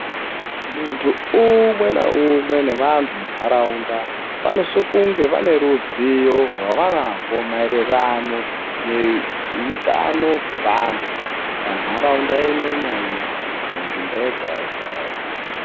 Muntu umwe naumwe nevantu munharaunda vanosiso kunge vaneruzivo rwavanarwo maererano neutano hwevantu. Panharaunda imwe naimwe munzvimbo yega-yega-yega,